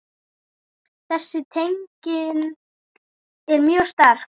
Þessi tenging er mjög sterk.